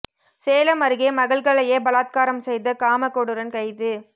சேலம் அருகே மகள்களையே பலாத்காரம் செய்த காமக்கொடூரன் கைது